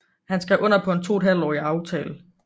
Han skrev under på en toethalvtårig aftale